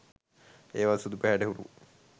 ඒවා සුදු පැහැයට හුරු